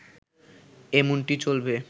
এমনটি চলবে